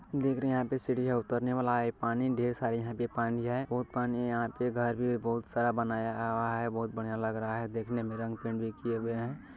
देख रहे है यहा पे सिडिया उतरने वाला है पानी ढेर सारा यहा पे पानी है भोत पानी है यहा पे घर भी भोत सारा बनाया हुआ है भोत बड़िया लग रहा है देखने मे रंग पेंट भी किए हुए है।